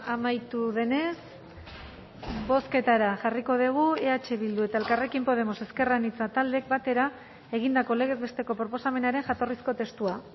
amaitu denez bozketara jarriko dugu eh bildu eta elkarrekin podemos ezker anitza taldeek batera egindako legez besteko proposamenaren jatorrizko testua